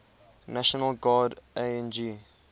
national guard ang